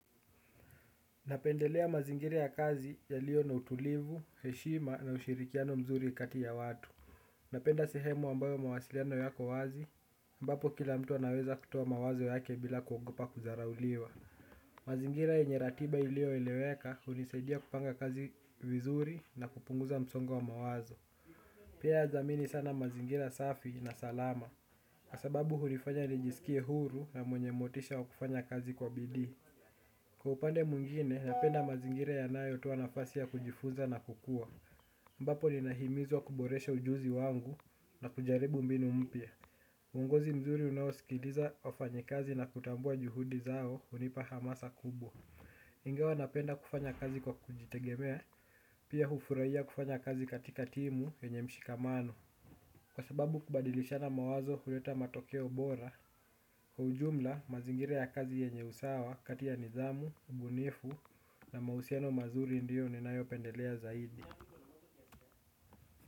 Napendelea mazingira ya kazi yalio na utulivu, heshima na ushirikiano mzuri kati ya watu napenda sehemu ambayo mawasiliano yako wazi, ambapo kila mtu anaweza kutoa mawazo yake bila kuogopa kudharauliwa mazingira yenye ratiba ilioeleweka hunisaidia kupanga kazi vizuri na kupunguza msongo wa mawazo pia nadhamini sana mazingira safi na salama, kwa sababu hunifanya nijisikie huru na mwenye motisha wa kufanya kazi kwa bidii. Kwa upande mwingine napenda mazingira yanayotoa nafasi ya kujifunza na kukua ambapo ninahimizwa kuboresha ujuzi wangu na kujaribu mbinu mpya uongozi mzuri unaosikiliza wafanyikazi na kutambua juhudi zao hunipa hamasa kubwa. Ingawa napenda kufanya kazi kwa kujitegemea, pia hufurahia kufanya kazi katika timu yenye mshikamano kwa sababu kubadilishana mawazo huleta matokeo bora kwa ujumla mazingira ya kazi yenye usawa kati ya nidhamu, ubunifu na mahusiano mazuri ndio ninayopendelea zaidi.